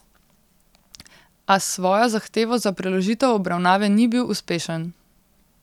A s svojo zahtevo za preložitev obravnave ni bil uspešen.